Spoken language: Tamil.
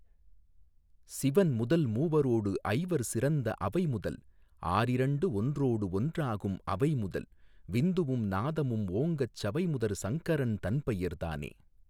சிவன்முதல் மூவரோடு ஐவர் சிறந்தஅவைமுதல் ஆறிரண்டு ஒன்றோடு ஒன்றாகும்அவைமுதல் விந்துவும் நாதமும் ஓங்கச்சவைமுதற் சங்கரன் தன்பெயர் தானே.